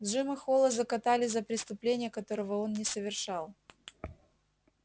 джима холла закатали за преступление которого он не совершал